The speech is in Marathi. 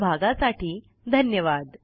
सहभागासाठी धन्यवाद